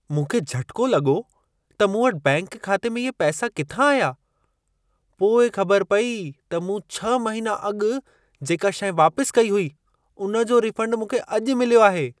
मूंखे झटिको लॻो त मूं वटि बैंक खाते में इहे पैसा किथां आया। पोइ ख़बर पेई त मूं 6 महिना अॻु जेका शइ वापसि कई हुई, उन जो रीफंड मूंखे अॼु मिल्यो आहे।